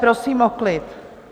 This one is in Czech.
Prosím o klid.